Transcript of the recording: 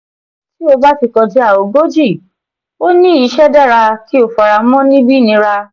ti o ba ti kọja ogoji o ni iṣẹ dara ki o faramọ nibi nira.